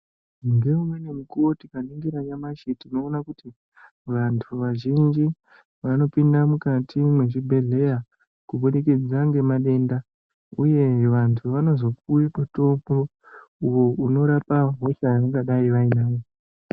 Ngeumweni mukuwo tikaningira nyamashi tinoona kuti ,vantu vazhinji vanopinda mukati mwezvibhedhleya, kubudikidza ngemadenda uye vantu vanozopiwe mutombo uyo unorapa hosha yavangadai vainayo.